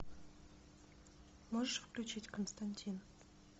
можешь включить константин